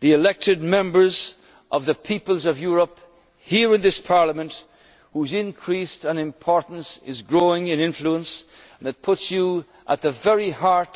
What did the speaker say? the elected Members of the peoples of Europe here in this Parliament, whose increased importance is growing in influence it puts you at